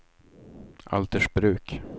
Altersbruk